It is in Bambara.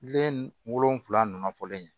Den wolonfila nunnu fɔlen